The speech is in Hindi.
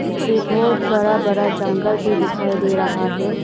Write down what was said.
पीछे बहोत बड़ा बड़ा जंगल भी दिखाई दे रहा है।